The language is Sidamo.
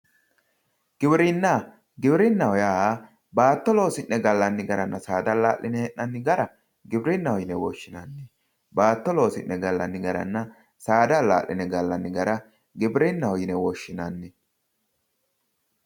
giwinna giwirinnahoo yaa baato losi'ne gallanni garanna saada allaa'line hee'nanni gara giwirinaho yine woshinanni baato loosi'ne gallanni garana saada allaa'line galanni gara giwirinaho yine woshinanni